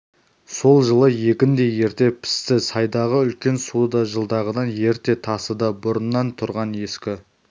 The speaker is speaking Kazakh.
сол жылы егін де ерте пісті сайдағы үлкен су да жылдағыдан ерте тасыды бұрыннан тұрған ескі